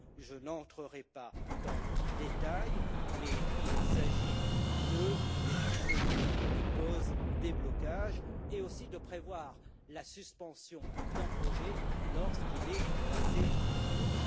Je n'entrerai pas dans le détail, mais il s'agit des typologies, des causes, des blocages, et aussi de prévoir la suspension d'un projet lorsqu'il est classé rouge.